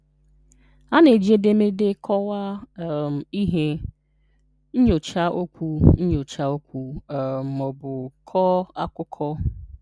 A na-eji edemede kọwaa um ihe, nyochaa okwu nyochaa okwu um maọbụ kọọ akukọ.